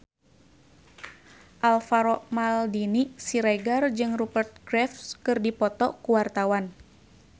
Alvaro Maldini Siregar jeung Rupert Graves keur dipoto ku wartawan